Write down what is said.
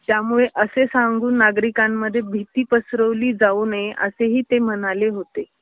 त्यामुळे असे सांगून नागरिकांमध्ये भीती पसरवली जाऊ नये असेही ते म्हणाले होते.